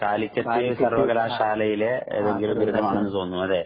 കാലിക്കറ്റ് സർവ്വകലാശാലയിലെ ഏതെങ്കിലും ഒരു ബിരുദമാണെന്നു തോന്നുന്നു